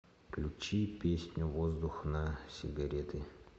включи песню воздух на сигареты